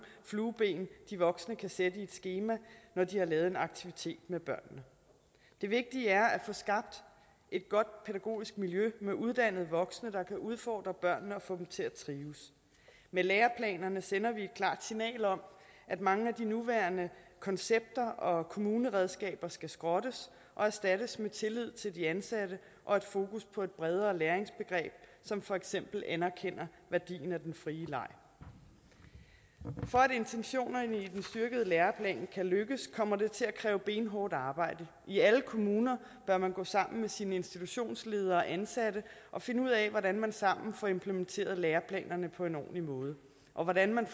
flueben de voksne kan sætte i et skema når de har lavet en aktivitet med børnene det vigtige er at få skabt et godt pædagogisk miljø med uddannede voksne der kan udfordre børnene og få dem til at trives med læreplanerne sender vi et klart signal om at mange af de nuværende koncepter og kommuneredskaber skal skrottes og erstattes med tillid til de ansatte og et fokus på et bredere læringsbegreb som for eksempel anerkender værdien af den frie leg for at intentionerne i den styrkede læreplan kan lykkes kommer det til at kræve benhårdt arbejde i alle kommuner bør man gå sammen med sin institutionsleder og sine ansatte og finde ud af hvordan man sammen får implementeret læreplanerne på en ordentlig måde og hvordan man